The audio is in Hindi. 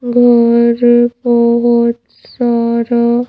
घर है बहुत सारा--